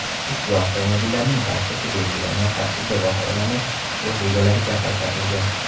Ushbu avtomobillarning barchasi belgilangan tartibda baholanib, o‘z egalariga qaytarilgan.